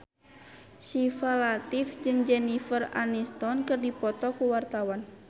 Syifa Latief jeung Jennifer Aniston keur dipoto ku wartawan